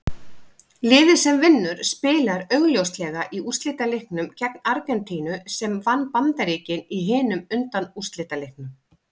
Liðið sem vinnur spilar augljóslega í úrslitaleiknum gegn Argentínu sem vann Bandaríkin í hinum undanúrslitaleiknum.